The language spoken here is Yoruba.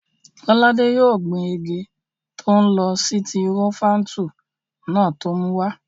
Lọ́ládé yóò gbin igi tọ́lọ́n sitirofáńtù náà tó mú wá